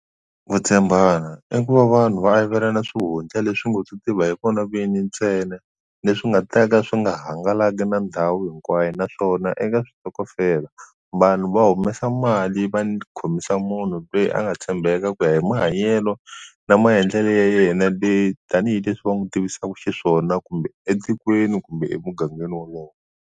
Ku tshembana i ku va vanhu va avelana swihundla leswi ngo to tiva hi vona vini ntsena leswi nga ta ka swi nga hangalaki na ndhawu hinkwayo naswona eka switokofela vanhu va humesa mali va khomisa munhu loyi a nga tshembeka ku ya hi mahanyelo na maendlelo ya yena leyi tanihileswi va n'wi tivisaka xiswona kumbe etikweni kumbe emugangeni wolowo.